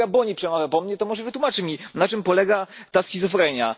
Pan kolega Boni przemawia po mnie, to może wytłumaczy mi, na czym polega ta schizofrenia?